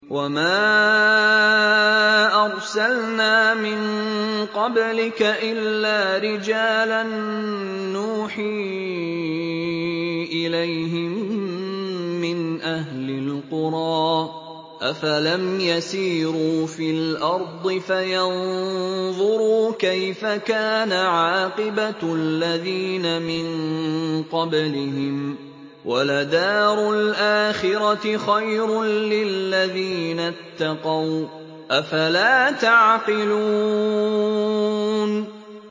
وَمَا أَرْسَلْنَا مِن قَبْلِكَ إِلَّا رِجَالًا نُّوحِي إِلَيْهِم مِّنْ أَهْلِ الْقُرَىٰ ۗ أَفَلَمْ يَسِيرُوا فِي الْأَرْضِ فَيَنظُرُوا كَيْفَ كَانَ عَاقِبَةُ الَّذِينَ مِن قَبْلِهِمْ ۗ وَلَدَارُ الْآخِرَةِ خَيْرٌ لِّلَّذِينَ اتَّقَوْا ۗ أَفَلَا تَعْقِلُونَ